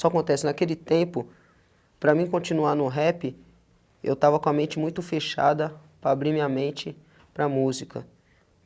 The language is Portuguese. Só acontece, naquele tempo, para mim continuar no rap, eu estava com a mente muito fechada para abrir minha mente para a música.